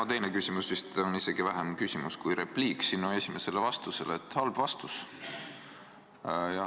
Mu teine küsimus vist on isegi vähem küsimus, pigem repliik sinu esimesele vastusele, et halb vastus.